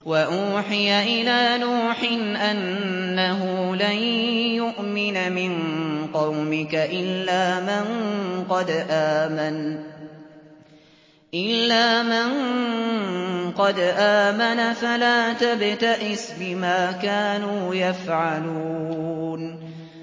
وَأُوحِيَ إِلَىٰ نُوحٍ أَنَّهُ لَن يُؤْمِنَ مِن قَوْمِكَ إِلَّا مَن قَدْ آمَنَ فَلَا تَبْتَئِسْ بِمَا كَانُوا يَفْعَلُونَ